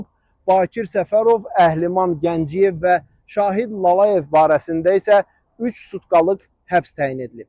Bakir Səfərov, Əhliman Gəncəyev və Şahid Lalayev barəsində isə üç sutkalıq həbs təyin edilib.